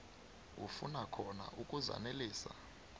afuna khona ukuzanelisa